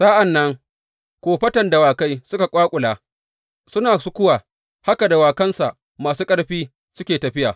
Sa’an nan kofatan dawakai suka ƙwaƙula, suna sukuwa, haka dawakansa masu ƙarfi suke tafiya.